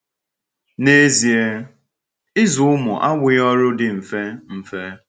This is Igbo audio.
N’ezie, ịzụ ụmụ abụghị ọrụ dị mfe. mfe.